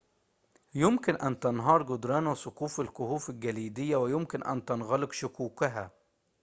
يمكن أن تنهار جدران وسقوف الكهوف الجليدية ويمكن أن تنغلق شقوقها